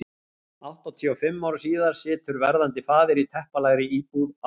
Áttatíu og fimm árum síðar situr verðandi faðir í teppalagðri íbúð á